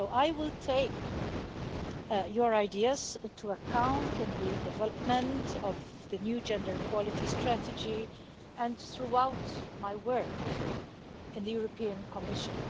I will take your ideas into account in the development of the new Gender Equality Strategy and throughout my work in the European Commission.